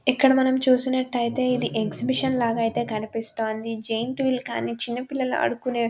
ఇక్కడ మనం చూసినట్లయితే ఇది ఎక్సిబిషన్ లాగా ఐతే కనిపిస్తుంది జైన్ట్ వీల్ కానీ చిన్న పిల్లలు ఆడుకునేవి --